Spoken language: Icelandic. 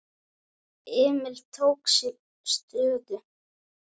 Emil tók sér stöðu.